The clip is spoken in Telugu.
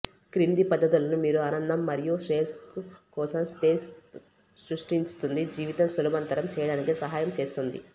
క్రింది పద్ధతులను మీరు ఆనందం మరియు శ్రేయస్సు కోసం స్పేస్ సృష్టిస్తుంది జీవితం సులభతరం చేయడానికి సహాయం చేస్తుంది